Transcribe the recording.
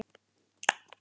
KULDINN á mig.